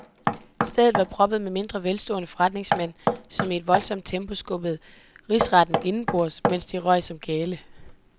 Stedet var proppet med mindre velstående forretningsmænd, som i et voldsomt tempo skubbede risretten indenbords, alt imens de røg som gale.